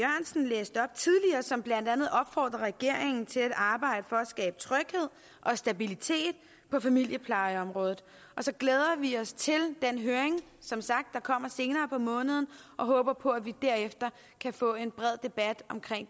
som blandt andet opfordrer regeringen til at arbejde for at skabe tryghed og stabilitet på familieplejeområdet og så glæder vi os til den høring der kommer senere på måneden og håber på at vi derefter kan få en bred debat om